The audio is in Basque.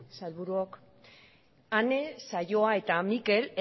sailburuok ane saioa eta mikel